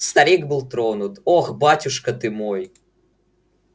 старик был тронут ох батюшка ты мой